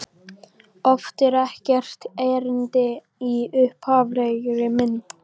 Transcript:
Oft er ekkert erindi í upphaflegri mynd.